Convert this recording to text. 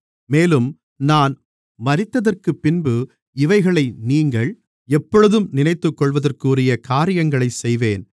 மேலும் நான் மரித்ததற்குப்பின்பு இவைகளை நீங்கள் எப்பொழுதும் நினைத்துக்கொள்வதற்குரிய காரியங்களைச் செய்வேன்